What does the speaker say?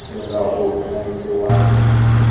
molao o o tshwanetseng wa